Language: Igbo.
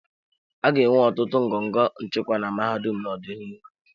A ga-enwe ọtụtụ ngọngọ nchịkwa na mahadum n'ọdịnihu.